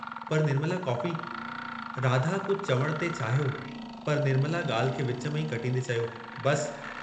पर, निर्मला.. कॉफ़ी" राधा कुझ चवण थे चाहियो पर निर्मला ॻाल्हि खे विच में ई कटींदें चयो, बस!